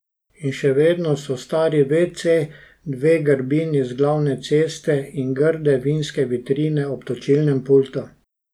In še vedno so stari vece, dve grbini z glavne ceste in grde vinske vitrine ob točilnem pultu.